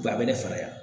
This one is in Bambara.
Wa a bɛ ne faga